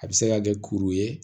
A bɛ se ka kɛ kuru ye